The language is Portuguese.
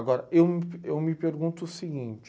Agora, eu mp me pergunto o seguinte,